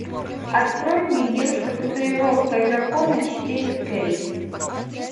открой мне девушка с татуировкой дракона четыре кей